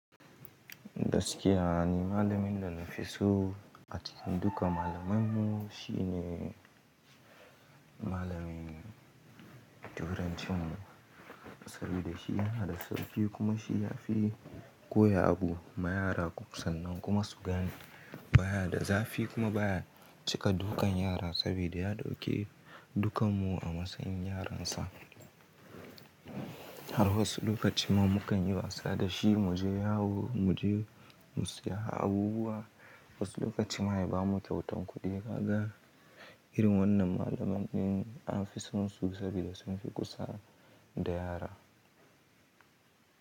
Gaskiya ni malamin da na fi so a cikin duka malaman mu. Shi ne malamin turancin mu saboda shi yana da sauƙi kuma shi ya fi koya abu ma yara sannan kuma su gane. Ba ya da zafi kuma ba ya cika dukan yara sabida ya ɗauke dukan mu a matsayin yaransa. Har wasu lokaci ma mu kan yi wasa da shi, mu je yawo, mu je mu siya abubuwa. Wasu lokaci ma ya ba mu kyautan kuɗi. Ka ga irin wannan malaman in an fi son su sabida sun fi kusa da yara.